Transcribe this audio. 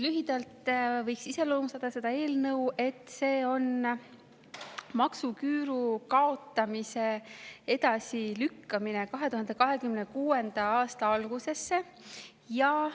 Lühidalt võiks iseloomustada seda eelnõu nii, et see on maksuküüru kaotamise edasilükkamine 2026. aasta algusesse.